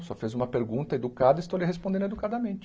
O senhor fez uma pergunta educada e estou lhe respondendo educadamente.